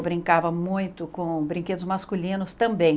Eu brincava muito com brinquedos masculinos também.